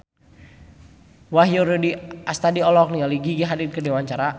Wahyu Rudi Astadi olohok ningali Gigi Hadid keur diwawancara